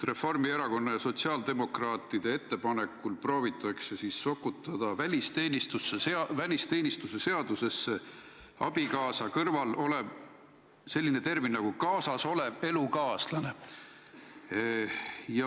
Reformierakonna ja sotsiaaldemokraatide ettepanekul proovitakse sokutada välisteenistuse seadusesse "abikaasa" kõrval termin "kaasas olev elukaaslane".